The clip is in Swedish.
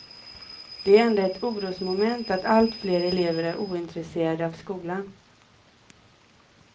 Det är ändå ett orosmoment att allt fler elever är ointresserade av skolan.